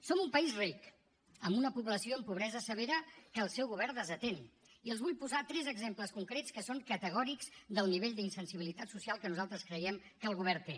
som un país ric amb una població amb pobresa severa que el seu govern desatén i els vull posar tres exemples concrets que són categòrics del nivell d’insensibilitat social que nosaltres creiem que el govern té